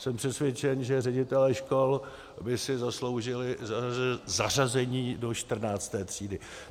Jsem přesvědčen, že ředitelé škol by si zasloužili zařazení do 14. třídy.